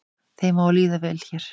Þeim á að líða vel hér